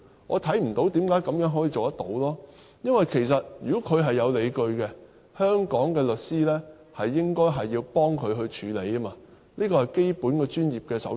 我看不到為何可以這樣做，因為如果他是有理據的，香港的律師應該要幫助他處理，這是基本的專業守則。